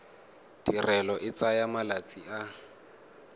tirelo e tsaya malatsi a